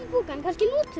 pokann kannski notum